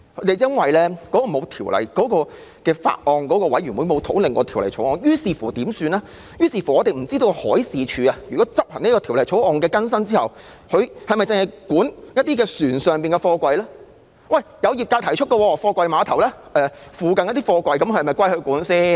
由於沒有法案委員會討論《條例草案》，於是我們不知道海事處在執行《條例草案》的更新修訂後，是否會管轄船上的貨櫃；業界亦有提出疑問：貨櫃碼頭附近的貨櫃是否由海事處管理？